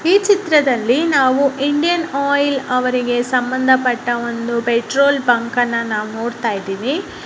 ಈ ಚಿತ್ರದಲ್ಲಿ ನಾವು ಇಂಡಿಯನ್ ಆಯಿಲ್ ಅವರಿಗೆ ಸಂಬಂಧಪಟ್ಟ ಒಂದು ಪೆಟ್ರೋಲ್ ಬಂಕ್ ನ್ನ ನಾವು ನೋಡ್ತಾ ಇದ್ದಿವಿ.